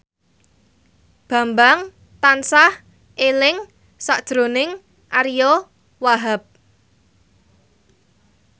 Bambang tansah eling sakjroning Ariyo Wahab